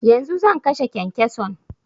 Yanzu zan kashe kyankyason